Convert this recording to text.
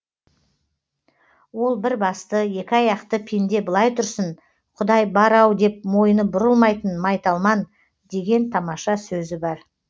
ол бір басты екі аяқты пенде былай тұрсын құдай бар ау деп мойны бұрылмайтын майталман деген тамаша сөзі бар